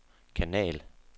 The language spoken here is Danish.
kanal